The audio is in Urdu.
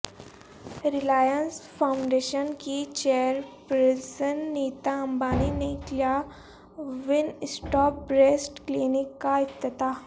ریلائنس فاونڈیشن کی چیئرپرسن نیتا امبانی نے کیا ون اسٹاپ بریسٹ کلینک کا افتتاح